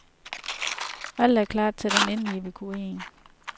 Alt er klart til den endelige evakuering.